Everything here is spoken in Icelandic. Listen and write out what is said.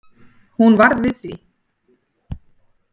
Hún varð við því